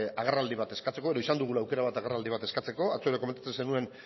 agerraldi bat eskatzeko edo izan dugula aukera bat agerraldia eskatzeko atzo ere komentatzen zenuen